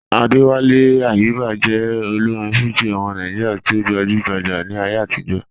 Adéwálé Àyùbá jẹ́ òlórin Fújì ọmọ Nàìjíríà tí o gbajúgbájá ní ayé àtìjọ́.